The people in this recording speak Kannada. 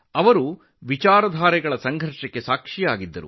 ಅವರು ಸಿದ್ಧಾಂತಗಳ ಹೋರಾಟಗಳಿಗೆ ಸಾಕ್ಷಿಯಾಗಿದ್ದರು